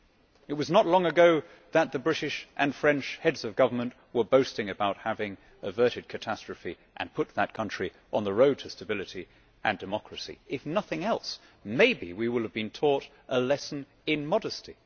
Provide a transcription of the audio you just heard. It was not long ago that the British and French Heads of Government were boasting about having averted catastrophe and put that country on the road to stability and democracy. If nothing else, maybe we will have been taught a lesson in modesty.